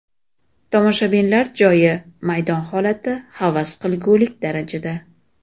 Tomoshabinlar joyi, maydon holati havas qilgulik darajada.